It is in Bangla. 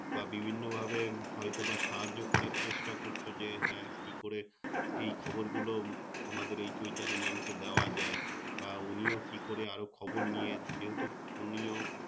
বা বিভিন্ন ভাবে হয়তো বা সাহায্য করার চেষ্টা করছো যে হ্যাঁ কি করে এই খবর গুলো তোমাদের এই Choitali Mam কে দেওয়া যায় বা উনিও কি করে আরও খবর নিয়ে যেহেতু উনিও